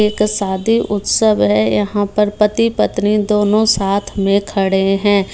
एक शादी उत्सव है यहाँ पर पति-पत्नी दोनों साथ में खड़े हैं।